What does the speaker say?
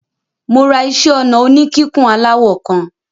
Mo ra iṣẹ́-ọnà oníkíkùn aláwọ̀ kan.